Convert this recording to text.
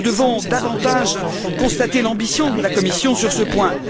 Nous devons davantage constater l'ambition de la Commission sur ce point.